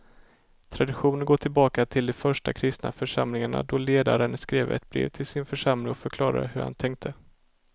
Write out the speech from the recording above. Traditionen går tillbaka till de första kristna församlingarna då ledaren skrev ett brev till sin församling och förklarade hur han tänkte.